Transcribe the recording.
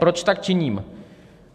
Proč tak činím?